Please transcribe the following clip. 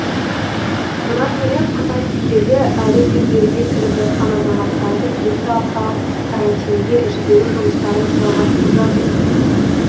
бұдан бөлек қытай билігі әлі де елге кіріп жатқан азаматтарды екі апталық карантинге жіберу жұмыстарын жалғастырып жатыр